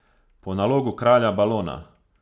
Po nalogu kralja Balona.